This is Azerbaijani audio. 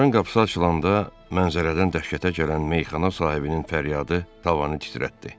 Anbarın qapısı açılanda pəncərədən dəhşətə gələn meyxana sahibinin fəryadı tavanı titrətdi.